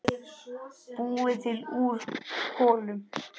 Búið til úr kolum!